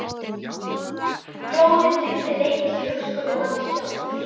Glóðin lifði lengst í hugskoti manns sjálfs.